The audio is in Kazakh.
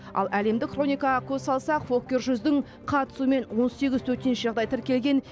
ал әлемдік хроникаға көз салсақ фоккер жүздің қатысуымен он сегіз төтенше жағдай тіркелген